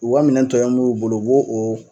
U ka minɛn tɔ in b'u bolo u bo o